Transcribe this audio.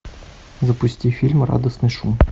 запусти фильм радостный шум